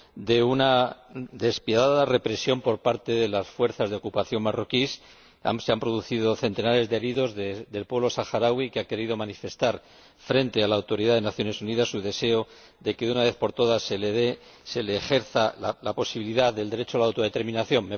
de una despiadada represión por parte de las fuerzas de ocupación marroquíes. Se han producido centenares de heridos en el pueblo saharaui, que ha querido manifestar, frente a la autoridad de las Naciones Unidas, su deseo de que, de una vez por todas, se le dé la posibilidad de ejercer el derecho a la autodeterminación.